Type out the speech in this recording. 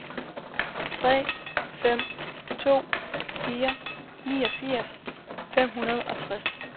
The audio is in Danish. tre fem to fire niogfirs fem hundrede og tres